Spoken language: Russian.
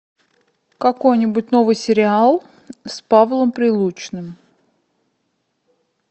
какой нибудь новый сериал с павлом прилучным